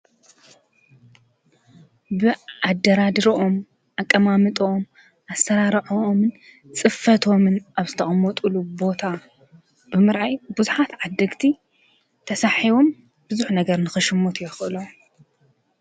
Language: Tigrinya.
ብኣደራድርኦም ኣቀማምጥኦም ኣሠራራዖኦምን ጽፈቶምን ኣብስተኦም ወጡሉ ቦታ ብምርኣይ ብዙኃት ዓደግቲ ተሳሒቦም ብዙኅ ነገር ንኽሽሞት የኽእሎ።